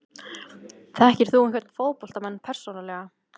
Þekkir þú einhverja fótboltamenn persónulega?